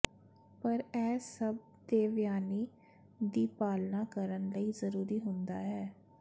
ਪਰ ਇਹ ਸਭ ਦੇਵਯਾਨੀ ਦੀ ਪਾਲਨਾ ਕਰਨ ਲਈ ਜ਼ਰੂਰੀ ਹੁੰਦਾ ਹੈ